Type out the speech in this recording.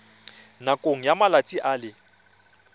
nakong ya malatsi a le